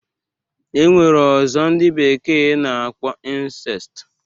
E nwere ọzọ ndị bekee na-akpọ insest.